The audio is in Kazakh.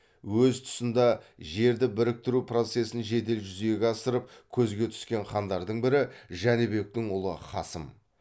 өз тұсында жерді біріктіру процесін жедел жүзеге асырып көзге түскен хандардың бірі жәнібектің ұлы қасым